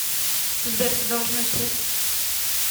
сбер ты должен уйти